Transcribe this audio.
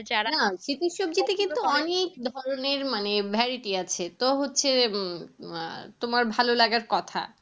অনেক ধরণের মানে variety আছে তো হোচ্ছে উম তোমার ভালো লাগার কথা